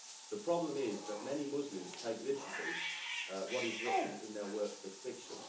The problem is that many Muslims take literally what is written in their works of fiction.